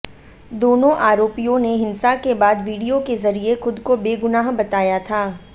दोनों आरोपियों ने हिंसा के बाद विडियो के जरिए खुद को बेगुनाह बताया था